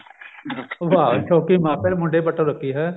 ਵਾਹ ਸ਼ੋੰਕੀ ਮਾਪਿਆਂ ਨੇ ਮੁੰਡੇ ਪੱਟਨ ਨੂੰ ਰੱਖੀ ਹੈਂ